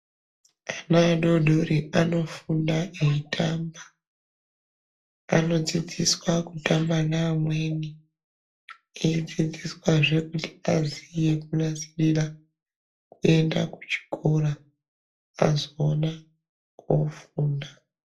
Ana adodoru anofunda eitamba anodzidziswa kutamba neamweni eidzidziswazve kuti aziye kunasirira kuenda kuchikora azoona kofunda.